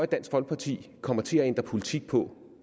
dansk folkeparti kommer til at ændre politik på